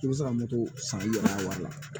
I bɛ se ka moto san i yɛrɛ la